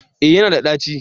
Eh ya na da ɗaci